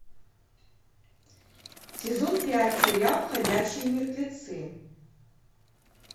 сезон пять сериал ходячие мертвецы